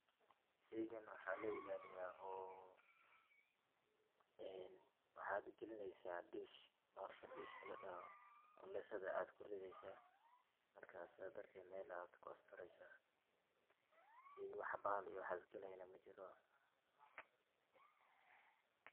Sheygan waxaa loo ilaaliyaa, waxaad galineysa dish ,kululeysada ayaa ku rideeysa, markaa saad darteed meel ayaa ku astureysa, sheey wax bahal galayo majiro.